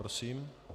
Prosím.